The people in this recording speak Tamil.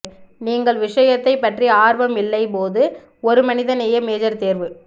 நீங்கள் விஷயத்தை பற்றி ஆர்வம் இல்லை போது ஒரு மனிதநேய மேஜர் தேர்வு